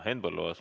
Henn Põlluaas.